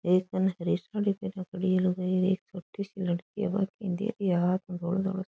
एक कने हरी साड़ी पहरया खड़ी है लुगाई एक छोटी सी लड़की हाँथ पे धोलो धोलो सो --